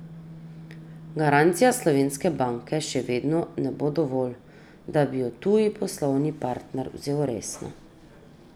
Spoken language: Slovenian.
Garancija slovenske banke še vedno ne bo dovolj, da bi jo tuji poslovni partner vzel resno.